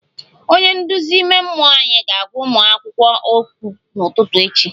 Onye nduzi ime mmụọ anyị ga-agwa ụmụ akwụkwọ okwu n'ụtụtụ echi